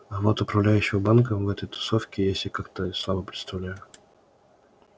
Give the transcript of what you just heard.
а вот управляющего банком в этой тусовке я себе как-то слабо представляю